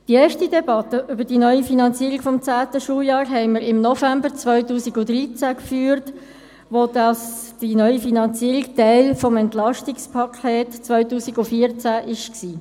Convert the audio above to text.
Die erste Debatte über die neue Finanzierung des zehnten Schuljahrs hatten wir im November 2013 geführt, als die neue Finanzierung Teil des Entlastungspakets (EP) 2014 war.